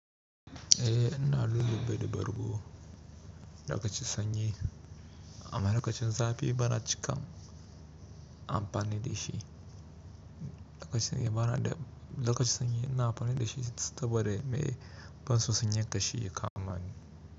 Eh, ina lulluɓa da bargo. Lokacin sanyi, amma lokacin zafi bana cika amfani da shi. Lokacin, bana da, lokacin sanyi ina amfani da shi saboda me ban so sanyan kashi ya kamani.